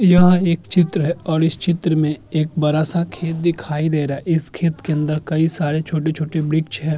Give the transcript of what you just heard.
यह एक चित्र है और इस चित्र में एक बरा सा खेत दिखाई दे रहा है| इस खेत के अंदर कई सारे छोटे-छोटे वृक्ष है।